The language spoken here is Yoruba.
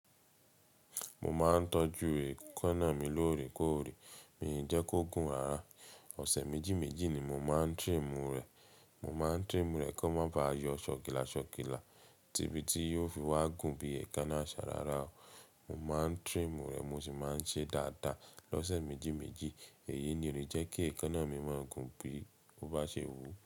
Mo máa ń tọ́jú èékánná mi lóòrèkóòrè, mi jẹ́ kó gùn rara ọ̀sẹ̀ méjì méjì ni mo máa ń trim rẹ̀. Mo máa ń trim rẹ̀ kó má ba yọ ṣòkìlà ṣòkìlà ti ibi tí yóò fi wá gùn bí èékánná àṣa rárá o. Mo máa ń trim rẹ̀ mo sì máa ń ṣe dáadáa lọ́sẹ̀ méjì méjì. Èyí ni ó le jẹ́ kí èékánná mi má gùn bí ó bá ṣe wú.